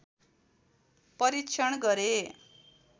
परीक्षण गरे